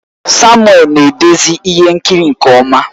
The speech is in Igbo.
Samuel na-edezi ihe nkiri nke ọma